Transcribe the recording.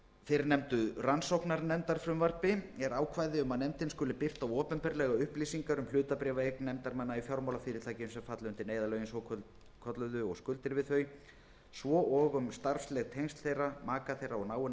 fyrrnefndu rannsóknarnefndarfrumvarpi er ákvæði um að nefndin skuli birta opinberlega upplýsingar um hlutabréfaeign nefndarmanna í fjármálafyrirtækjum sem falla undir neyðarlögin svokölluðu og skuldir við þau svo og um starfsleg tengsl þeirra maka þeirra og náinna